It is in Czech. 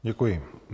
Děkuji.